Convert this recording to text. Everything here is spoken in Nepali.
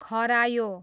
खरायो